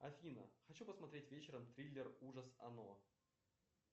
афина хочу посмотреть вечером триллер ужас оно